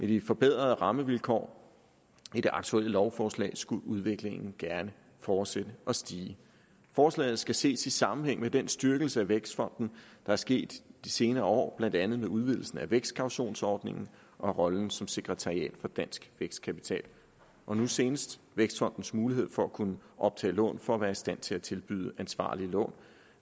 de forbedrede rammevilkår i det aktuelle lovforslag skulle udviklingen gerne fortsætte og stige forslaget skal ses i sammenhæng med den styrkelse af vækstfonden der er sket i de senere år blandt andet med udvidelsen af vækstkautionsordningen rollen som sekretariat for dansk vækstkapital og nu senest vækstfondens mulighed for at kunne optage lån for at være i stand til at tilbyde ansvarlige lån